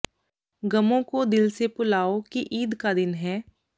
ਗ਼ਮੋਂ ਕੋ ਦਿਲ ਸੇ ਭੁਲਾਓ ਕਿ ਈਦ ਕਾ ਦਿਨ ਹੈ